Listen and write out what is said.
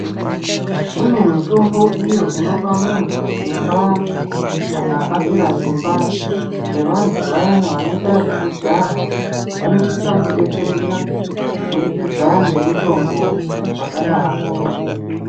Kune mitombo iyo inopa muntu simba kana apera simba sevantu vayani vanoita zvekujaha, vanosisa kudetsereka kubudikidza ngemitombo dzakadaro.